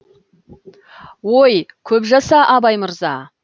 ой көп жаса абай мырза